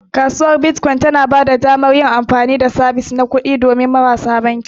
Kasuwar Bitcoin tana ba da damar yin amfani da sabis na kuɗi don marasa banki.